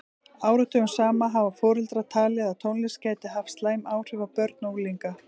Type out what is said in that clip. Áratugum saman hafa foreldrar talið að tónlist gæti haft slæm áhrif á börn og unglinga.